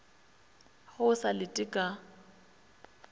ge o sa lete ka